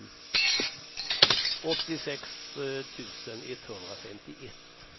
åttiosex tusen etthundrafemtioett